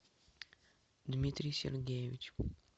дмитрий сергеевич